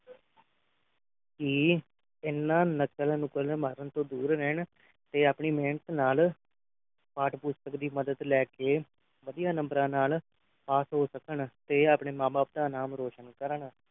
ਇਹ ਇਨ੍ਹਾਂ ਨਕਲ ਨਕਲੁ ਮਾਰਨ ਤੋਂ ਦੂਰ ਰਹਿਣ ਕੇ ਆਪਣੀ ਮਿਹਨਤ ਨਾਲ ਪਾਠ ਪੁਸਤਕ ਦੀ ਮਦਦ ਲੈ ਕੇ ਵਧੀਆ ਨੰਬਰਾਂ ਨਾਲ pass ਹੋ ਸਕਣ ਤੇ ਆਪਣੇ ਮਾਂ ਬਾਪ ਦਾ ਨਾਂ ਰੌਸ਼ਨ ਕਰਨ